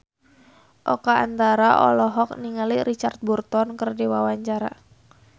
Oka Antara olohok ningali Richard Burton keur diwawancara